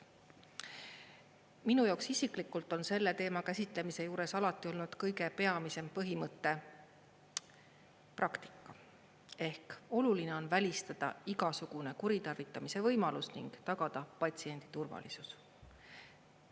Minu jaoks isiklikult on selle teema käsitlemise juures alati olnud kõige peamisem põhimõte praktika ehk oluline on välistada igasugune kuritarvitamise võimalus ning tagada patsiendi turvalisus.